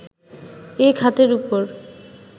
এ খাতের ওপর